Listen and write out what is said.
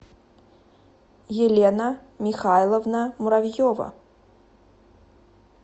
елена михайловна муравьева